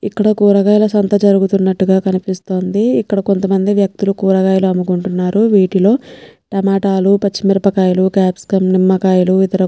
ఇక్కడ కూరగాయల సంత జరుగుతున్నటుగా కనిపిస్తుంది ఇక్కడ కొంత మంది వక్తులు కూరగాయలు అమ్ముకుంటున్నారు వీటిలో టమాటాలు పచ్చిమిరపకాయలు క్యాప్సికమ్ నిమ్మకాయలు ఇతర --